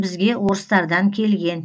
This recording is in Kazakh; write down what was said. бізге орыстардан келген